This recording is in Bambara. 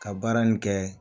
Ka baara nin kɛ